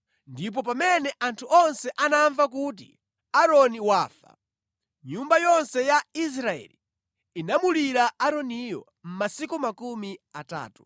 ndipo pamene anthu onse anamva kuti Aaroni wafa, nyumba yonse ya Israeli inamulira Aaroniyo masiku makumi atatu.